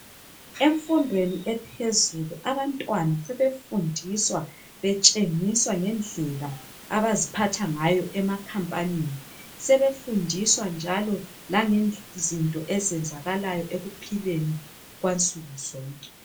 Emfundweni ephezulu abantwana sebefundiswa betshengiswa ngendlela abaziphathangayo emakhampanini sebefundiswa njalo langezinto ezenza kalayo ekuphileni besuthiseke